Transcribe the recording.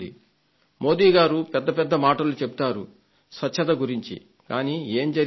మోదీ గారు పెద్ద పెద్ద మాటలు చెబుతారు స్వచ్ఛత గురించి కానీ ఏం జరిగింది అని